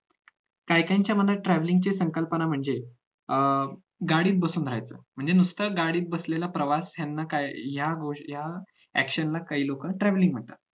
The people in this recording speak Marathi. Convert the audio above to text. काही काहींच्या मनात travelling ची संकल्पना म्हणजे अं गाडीत बसून राहायचं म्हणजे नुसतं गाडीत बसलेला प्रवास याना काय या action ला काही लोक travelling म्हणतात